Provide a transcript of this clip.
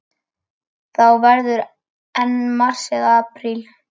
Þá verður enn mars eða apríl.